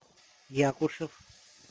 якушев